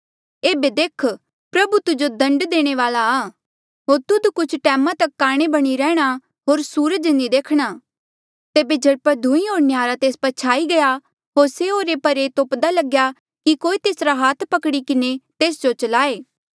एेबे देख प्रभु तुजो दण्ड देणे वाल्आ होर तुध कुछ टैमा तक काणे बणी रैंह्णां होर सूरज नी देखी सकणा तेबे झट पट धुईं होर न्हयारा तेस पर छाई गया होर से ओरे परे तोप्दा लग्या कि कोई तेसरा हाथ पकड़ी किन्हें तेस जो चलाये